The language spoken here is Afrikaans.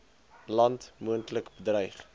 land moontlik bedreig